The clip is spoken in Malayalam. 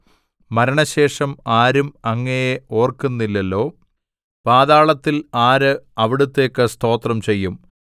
മരണശേഷം ആരും അങ്ങയെ ഓര്‍ക്കുന്നില്ലലോ പാതാളത്തിൽ ആര് അവിടുത്തേക്ക് സ്തോത്രം ചെയ്യും